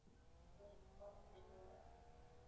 Hún kvaddi mig ekki.